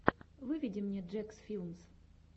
выведи мне джекс филмс